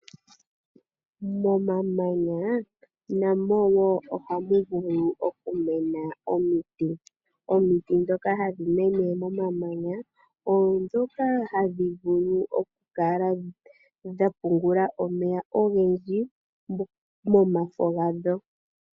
Momamanya namo wo oha mu vulu okumena omiti. Omiti ndhoka hadhi mene momamanya oondhoka hadhi vulu okukala dha pungula omeya ogendji momafo gadho.